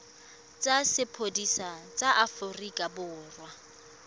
tsa sepodisi sa aforika borwa